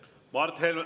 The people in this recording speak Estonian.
Mart Helme …